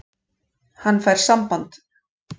Hann fær samband.